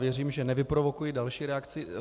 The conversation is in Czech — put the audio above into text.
Věřím, že nevyprovokuji další reakci.